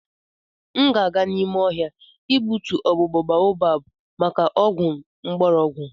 M ga-aga n'ime ohia igbutu ogbugbo baobab maka ogwu ngborogu.